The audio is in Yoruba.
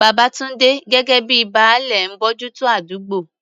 Babatunde, gẹ́gẹ́ bíi "Baale," ń bójú tó àdúgbò.